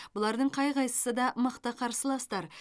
бұлардың қай қайсысы да мықты қарсыластар